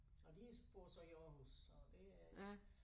Og de bor så i Aarhus så det er